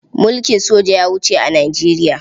Mulkin soja ya wuce a Nijeriya.